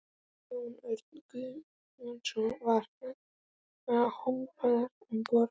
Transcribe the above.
Jón Örn Guðbjartsson: Var hrópað um borð?